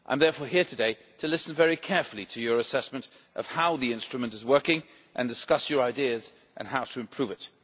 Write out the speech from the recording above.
I am therefore here today to listen very carefully to Members' assessment of how the instrument is working and discuss their ideas on how to improve